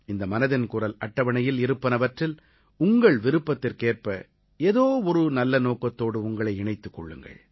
இந்த மனதின் குரல் அட்டவணையில் இருப்பனவற்றில் உங்கள் விருப்பத்திற்கேற்ப ஏதோ ஒரு நல்ல நோக்கத்தோடு உங்களை இணைத்துக் கொள்ளுங்கள்